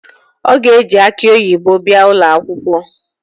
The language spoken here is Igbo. O ga-eji akị oyibo bịa ụlọakwụkwọ